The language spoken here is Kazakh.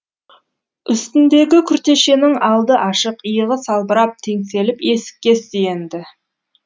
үстіндегі күртешенің алды ашық иығы салбырап теңселіп есікке сүйенді